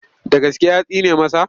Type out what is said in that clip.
Da gaske ya tsine masa?